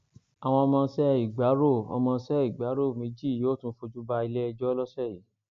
àwọn ọmọọṣẹ ìgbárò ọmọọṣẹ ìgbárò méjì yóò tún fojú balẹẹjọ lọsẹ yìí